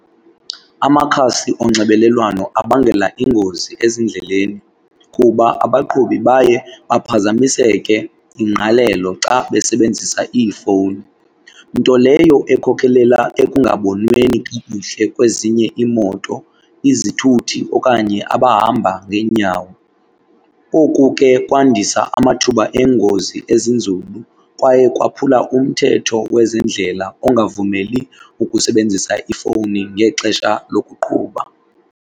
Amakhasi onxibelelwano abangela ingozi ezindleleni kuba abaqhubi baye baphazamiseke ingqalelo xa besebenzisa iifowuni. Nto leyo ekhokelela ekungabonweni kakuhle kwezinye iimoto, izithuthi okanye abahamba ngeenyawo. Oku ke kwandisa amathuba engozi ezinzulu kwaye kwaphula umthetho wezendlela ongavumeli ukusebenzisa ifowuni ngexesha lokuqhuba.